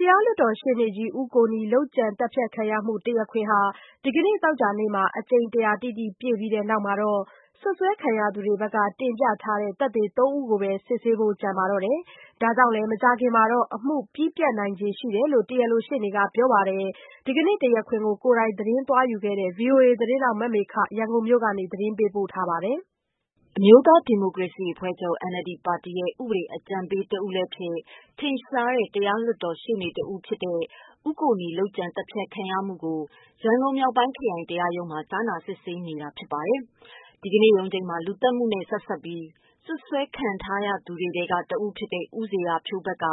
တရားလွှတ်တော်ရှေ့နေကြီး ဦးကိုနီ လုပ်ကြံသတ်ဖြတ်ခံရမှုတရားခွင်ဟာ ဒီကနေ့ သောကြာနေ့မှာ အကြိမ် ၁၀၀ တိတိ ပြည့်ပြီး တဲ့နောက်မှာတော့ စွပ်စွဲခံရသူတွေဘက်က တင်ပြထားတဲ့ သက်သေ သုံးဦးကိုပဲ စစ်ဆေးဖို့ ကျန်ပါတော့တယ်။ ဒါကြောင့်လည်း မကြာခင်မှာ အမှု ပြီးပြတ်နိုင်ခြေ ရှိတယ်လို့ တရားလိုရှေ့နေက ပြောပါ တယ်။ ဒီကနေ့တရားခွင်ကို ကိုယ်တိုင်သတင်းသွားယူခဲ့တဲ့ ဗွီအိုအေသတင်းထောက် မမေခက ရန်ကုန်မြို့ ကနေ သတင်းပေးပို့ထားပါတယ်။ အမျိုးသားဒီမိုကရေစီအဖွဲ့ချုပ် NLD ပါတီရဲ့ ဥပဒေအကြံပေးတဦးလည်းဖြစ်၊ ထင်ရှားတဲ့ တရား လွှတ်တော် ရှေ့နေကြီးလည်း ဖြစ်တဲ့ ဦးကိုနီ လုပ်ကြံသတ်ဖြတ်ခံရမှုကို ရန်ကုန်မြောက်ပိုင်းခရိုင် တရားရုံးမှာ ကြားနာ စစ် ဆေးနေတာပါ။ ဒီကနေ့ရုံးချိန်းမှာ လူသတ်မှုနဲ့ဆက်စပ်ပြီး စွပ်စွဲခံထား ရသူတွေထဲကတဦးဖြစ်တဲ့ ဦးဇေယျာဖြိုး ဘက်က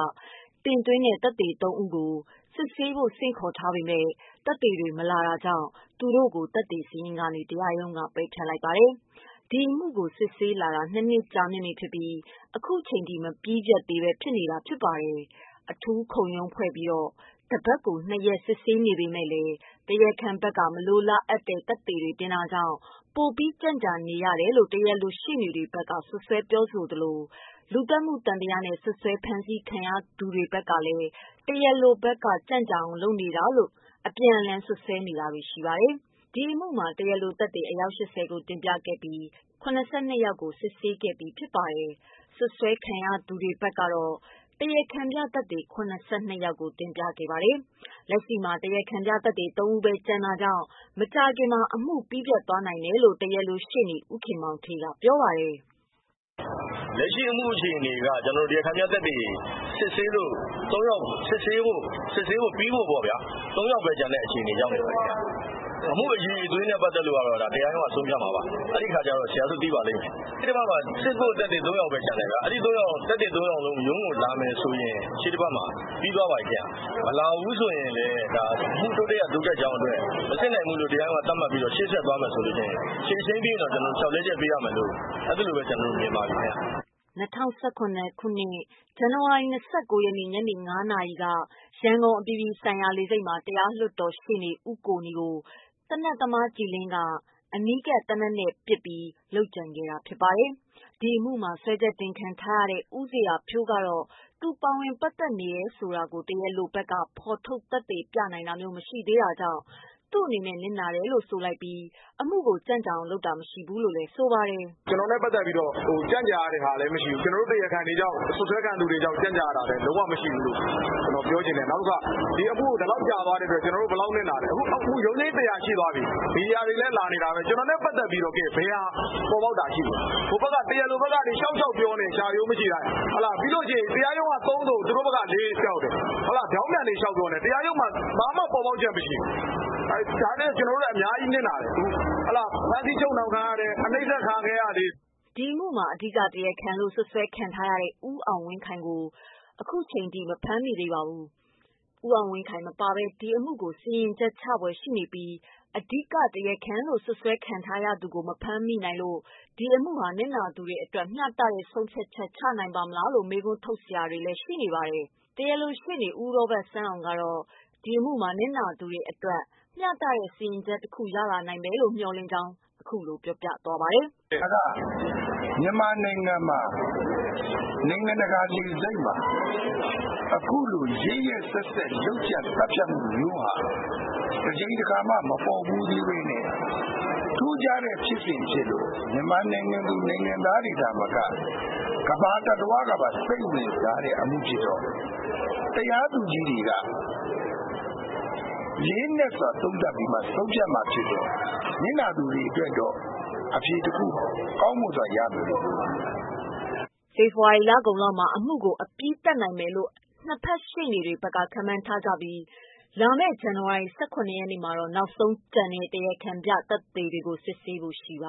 တင်သွင်းတဲ့ သက်သေသုံးဦးကို စစ်ဆေးဖို့ ဆင့်ခေါ်ထားပေမယ့် သက်သေတွေမလာတာကြောင့် သူတို့ကို သက်သေစာရင်းကနေ တရားရုံးက ပယ်ဖျက်လိုက်ပါတယ်။ ဒီအမှုကိုစစ်ဆေးလာတာ နှစ်နှစ်ကြာမြင့်ပြီဖြစ်ပြီး ခုချိန်ထိ မပြီးပြတ်သေးဘဲ ဖြစ်နေတာပါ။ အထူးခုံရုံးဖွဲ့ပြီးတော့ တပတ်ကို နှစ်ရက် စစ်ဆေးနေပေမယ့်လည်း တရားခံဘက်က မလိုအပ်တဲ့သက်သေတွေတင်တာကြောင့် ပိုပြီး ကြန့်ကြာနေရတာလို့ တရားလိုရှေ့နေတွေဘက်က စွပ်စွဲပြောဆိုသလို လူသတ်မှုသံသယနဲ့ စွပ်စွဲဖမ်းဆီး ခံထား ရသူတွေဘက်ကလည်း တရားလိုဘက် က ကြန့်ကြာအောင် လုပ်နေတာလို့ ပြန်လှန်စွပ်စွဲတာတွေရှိပါတယ်။ ဒီအမှုမှာ တရားလိုသက်သေ အယောက် ၈၀ ကိုတင်ပြခဲ့ပြီး ၇၂ ယောက်ကို စစ်ဆေးခဲ့ပြီးဖြစ်သလို စွပ်စွဲခံထား ရသူတွေဘက်က တရားခံပြသက်သေ ၇၂ ယောက်ကို တင်ပြခဲ့ပါတယ်။ လက်ရှိမှာ တရားခံပြသက်သေ ၃ ဦးပဲ ကျန်တော့တာကြောင့် မကြာခင်မှာ အမှု ပြီးပြတ်သွားနိုင်တယ်လို့ တရားလိုရှေ့နေ ဦးခင်မောင်ဋ္ဌေးက ပြောပါတယ်။ “လက်ရှိအမှုအခြေအနေက တရားခံပြသက်သေ စစ်ဆေးဖို့ ၃ယောက်ဘဲကျန်တဲ့ အခြေအနေ ရောက်နေပါပြီဗျ။ အမှုအရည်အသွေးကတော့ တရားရုံးကဆုံးဖြတ်မှာပါ။ ရှေ့တပတ်မှာစစ်ဖို့ ၃ ယောက်ပဲကျန်မယ်။ အဲ ၃ ယောက် စစ်ဖို့ ရုံးလာရင် ရှေ့တပတ်မှာ ပြီးသွားပါပြီခင်ဗျ။ မလာဘူး ဆိုလည်း အမှုတိုးတက်ရာ တိုးတက် ကြောင်းအတွက် ရှေ့ဆက်မယ်လို့ဆုံးဖြတ်ရင် ရှေ့ တချိန်းပြီး လျှောက်လဲချက် ပေးရတော့မယ်လို့မြင်ပါတယ်ဗျ။” ၂၀၁၇ ဇန်နဝါရီလ ၂၉ ရက် ညနေ ၅ နာရီက ရန်ကုန် အပြည်ပြည်ဆိုင်ရာလေဆိပ်မှာ တရား လွှတ်တော် ရှေ့နေ ဦးကိုနီကို သေနတ်သမားကြည်လင်းက အနီးကပ် သေနတ်နဲ့ပစ်ပြီး လုပ်ကြံခဲ့ တာ ဖြစ်ပါတယ်။ ဒီအမှုမှာ စွဲချက်တင်ခံထားရတဲ့ဦးဇေယျာဖြိုးကတော့ သူပါဝင်ပတ်သက်တယ် ဆိုတာကို တရားလိုဘက်က ဖော်ထုတ် သက်သေပြတာမျိုး မရှိသေးတာကြောင့် သူ့အနေနဲ့ နစ်နာတယ်လို့ဆိုပြီး အမှုကိုကြန့်ကြာအောင်လုပ်တာ မရှိဘူးလို့ ဆိုပါတယ်။ “ကျနော်ကြောင့်ကြန့်ကြာရတာမရှိဘူး။ စွပ်စွဲခံရသူတွေကြောင့်ကြန့်ကြာနေတာမရှိဘူးူ။ ဒီအမှု ဒီလောက်ကြာ သွားလို့ ဘယ်လောက်နစ်နာလဲ။ ရုံးချိန်း ၁၀၀ ရှိပြီ။ ကျနော်နဲ့ပတ်သက်ပြီး ဘယ်ဟာ ပေါ်ပေါက်တာရှိလဲ။ တရားလိုဘက်ကနေ လျှောက်ပြောနေတယ်။ လျှာရိုးမရှိတိုင်း တရားရုံးက ၃ ဆို သူတို့ဘက်က ၄ လုပ်တယ်။ ပြောင်းပြန်ပြောတယ်။ တရားရုံးမှာ ဘာမှပေါ်ပေါက်ချက်မရှိဘူး။ ကြား ထဲကကျနော်တို့အများကြီးနစ်နာတယ်။ ဖမ်းဆီးချုပ်နှောင်ခံရတယ်။ အနှိပ်စက်ခံခဲ့ ရသေးတယ်။” ဒီအမှုမှာ အဓိကတရားခံလို့ စွပ်စွဲခံထားရတဲ့ ကိုအောင်ဝင်းခိုင်ကိုတော့ အခုချိန်ထိ မဖမ်းမိသေးပါဘူး။ ဦးအောင်ဝင်းခိုင်မပါဘဲ အမှုကို စီရင်ချက်ချဖွယ်ရှိနေပြီး အဓိကတရားခံလို့ စွပ်စွဲခံထားရသူကို မဖမ်းနိုင်လို့ ဒီအမှုဟာ နစ်နာသူတွေအတွက် မျှတတဲ့ ဆုံးဖြတ်ချက် ချနိုင်ပါ့မလားလို့မေးခွန်းထုတ်တာတွေလည်းရှိပါတယ်။ တရားလိုရှေ့နေ ဦးရောဘတ်ဆန်းအောင်ကတော့ ဒီအမှုမှာ နစ်နာခဲ့သူတွေအတွက် မျှတတဲ့ စီရင်ချက် တခု ရလာနိုင်မယ်လို့ မျှော်လင့်ကြောင်း အခုလို ပြောပြသွားပါတယ်။ “ဒါကမြန်မာနိုင်ငံမှာ နိုင်ငံတကာလေဆိပ်မှာ အခုလိုရက်ရက်စက်စက်လုပ်ကြံသတ်ဖြတ်ခံရတာ တကြိမ်တခါမှ မပေါ်ဘူးသေးတဲ့ ထူးခြားဖြစ်စဉ်ဖြစ်လို့ မြန်မာနိုင်ငံသူနိုင်ငံသားသာမက ကမ္ဘာကပါစိတ်ဝင်စားတဲ့ အမှုဖြစ်တော့ တရားသူကြီးတွေက လေးနက်စွာသုံးသပ်ပြီးဆုံးဖြတ်တာဖြစ်တော့ နစ်နာသူတွေ အတွက်တော့ အဖြေတခု ကောင်းမွန်စွာရမယ်လို့ယုံကြည်ပါတယ်။” ဖေဖော်ဝါရီလကုန်လောက်မှာ အမှုကို အပြီးသတ်နိုင်မယ်လို့ နှစ်ဖက်ရှေ့နေတွေဘက်က ခန့်မှန်းထားကြပြီး ဇန်နဝါရီလ ၁၇ ရက်နေ့ မှာ နောက်ဆုံးကျန်တဲ့ တရားခံပြသက်သေတွေကို စစ်ဆေးဖို့ရှိပါ